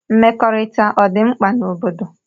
Mmekọrita ọdi mkpa n'obodo.